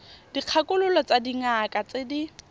dikgakololo tsa dingaka tse di